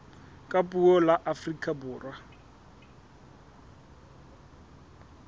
ka puo la afrika borwa